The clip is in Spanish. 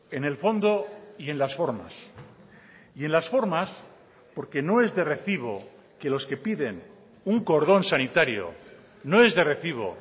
en el fondo y en las formas y en las formas porque no es de recibo que los que piden un cordón sanitario no es de recibo